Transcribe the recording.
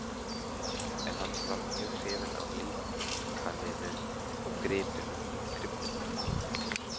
En hann var mjög hrifinn af líkaninu og gripnum.